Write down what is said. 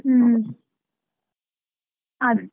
ಹ್ಮ್, ಹಾ.